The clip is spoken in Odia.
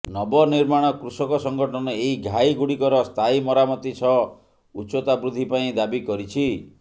ନବନିର୍ମାଣ କୃଷକ ସଙ୍ଗଠନ ଏହି ଘାଇ ଗୁଡିକର ସ୍ଥାୟୀ ମରାମତି ସହ ଉଚ୍ଚତା ବୃଦ୍ଧି ପାଇଁ ଦାବି କରିଛି